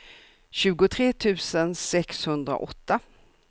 tjugotre tusen sexhundraåtta